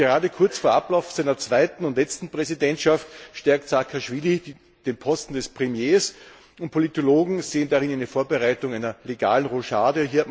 Und gerade kurz vor Ablauf seiner zweiten und letzten Präsidentschaft stärkt Saakaschwili den Posten des Premiers, und Politologen sehen darin die Vorbereitung einer legalen Rochade.